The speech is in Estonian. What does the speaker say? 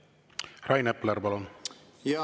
Rain Epler, palun!